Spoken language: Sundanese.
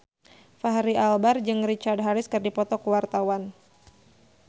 Fachri Albar jeung Richard Harris keur dipoto ku wartawan